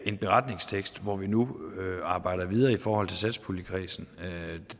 en beretningstekst hvor vi nu arbejder videre i forhold til satspuljekredsen